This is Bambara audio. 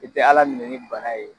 I tɛ Ala ninɛ ni bana ye.